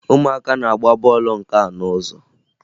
Ụmụaka na-agba bọọlụ nka n'ụzọ